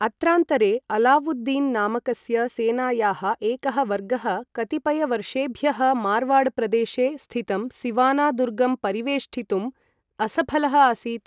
अत्रान्तरे, अलावुद्दीन् नामकस्य सेनायाः एकः वर्गः कतिपयवर्षेभ्यः मार्वाडप्रदेशे स्थितं सिवाना दुर्गं परिवेष्टितुम् असफलः आसीत्।